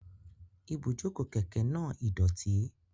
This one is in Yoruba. Ibujoko keke naa idoti.